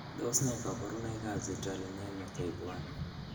Tos nee koborunoikab Citrullinemia type I?